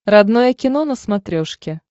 родное кино на смотрешке